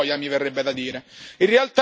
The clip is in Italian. Manca solo il boia, mi verrebbe da dire.